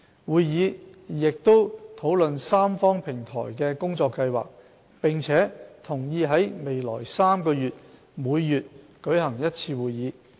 會議亦討論三方平台的工作計劃，並同意在未來3個月每月舉行一次會議。